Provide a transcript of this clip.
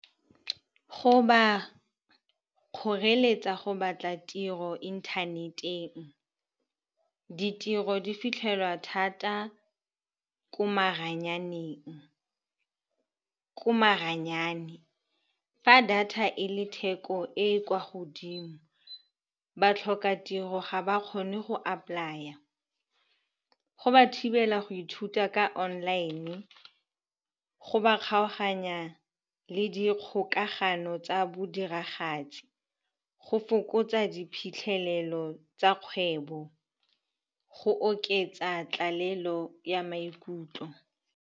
Go ba kgoreletsa go batla tiro inthaneteng. Ditiro di fitlhelwa thata ko maranyane. Fa data e le theko e e kwa godimo, batlhokatiro ga ba kgone go apply-a. Go ba thibela go ithuta ka online-e, go ba kgaoganya le dikgokagano tsa bodiragatsi, go fokotsa diphitlhelelo tsa kgwebo, go oketsa tlalelo ya maikutlo.